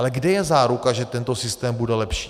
Ale kde je záruka, že tento systém bude lepší?